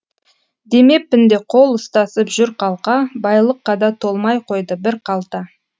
демеппін де қол ұстасып жүр қалқа байлыққа да толмай қойды бір қалта